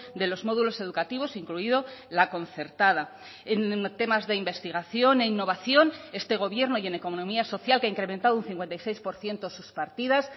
de los módulos educativos incluido la concertada en temas de investigación e innovación este gobierno y en economía social que ha incrementado un cincuenta y seis por ciento sus partidas